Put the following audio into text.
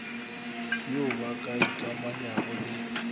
yo ba ka ikamanyago le